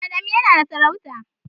Adamu yana da sarauta.